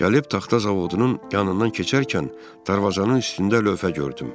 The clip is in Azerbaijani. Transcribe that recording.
Gəlib taxta zavodunun yanından keçərkən darvazanın üstündə lövhə gördüm.